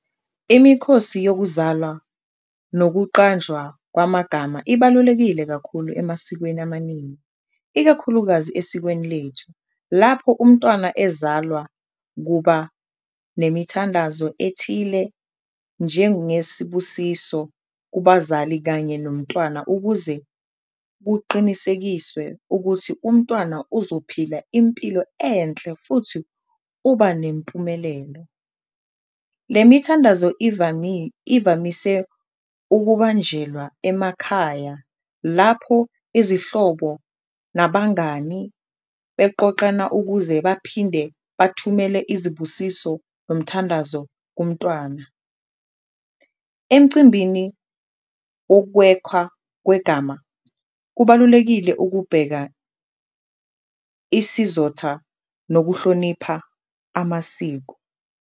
Imikhosi yokuzalwa nokuqanjwa kwamagama ibalulekile kakhulu emasikweni amaningi, ikakhulukazi esikweni lethu. Lapho umntwana ezalwa kuba nemithandazo ethile njengesibusiso kubazali kanye nomntwana ukuze kuqinisekiswe ukuthi umntwana uzophila impilo enhle futhi uba nempumelelo. Le mithandazo ivamise ukubanjelwa emakhaya lapho izihlobo nabangani beqoqana ukuze baphinde bathumele izibusiso nomthandazo kumntwana. Emcimbini wokwekhwa kwegama kubalulekile ukubheka isizotha nokuhlonipha amasiko.